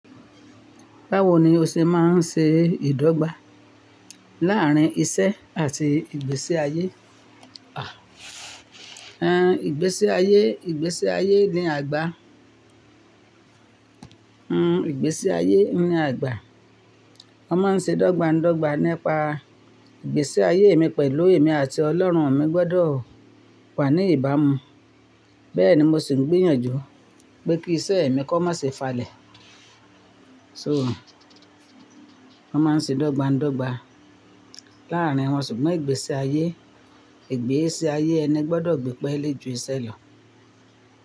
Báwo ni o ṣe máa ń ṣe ìdọ́gba láàrín iṣẹ́ àti ìgbésí ayé? Ìgbésí ayé, ìgbésí ayé ni àgbà. Ìgbésí ayé ni àgbà. Wọ́n máa ń ṣe dọ́gba ndọ́gba nípa ìgbésí ayé mi pẹ̀lú èmi àti Ọlọ́run. Mi gbọ́dọ̀ wà ní ìbámu. Bẹ́ẹ̀ ni mo sì ń gbìyànjú pé kí iṣẹ́ mi kó má ṣe falẹ̀. So wọ́n máa ń ṣe dọ́gba ndọ́gba. Láàrín wọn ṣùgbọ́n ìgbésí ayé, ìgbésí ayé ẹni gbọ́dọ̀ gbé pẹ́lẹ́ ju iṣẹ́ lọ.